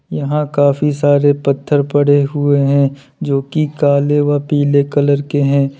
यहां काफी सारे पत्थर पड़े हुए हैं जो की काले व पीले कलर के हैं।